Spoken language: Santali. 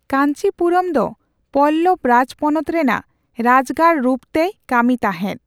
ᱠᱟᱧᱪᱤᱯᱩᱨᱚᱢ ᱫᱚ ᱯᱚᱞᱞᱚᱵ ᱨᱟᱡᱽᱯᱚᱱᱚᱛ ᱨᱮᱱᱟᱜ ᱨᱟᱡᱜᱟᱲ ᱨᱩᱯ ᱛᱮᱭ ᱠᱟᱹᱢᱤ ᱛᱟᱸᱦᱮᱫ ᱾